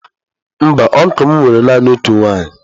Mba ọncụl m nwere naanị otu nwunye.